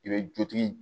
I bɛ dutigi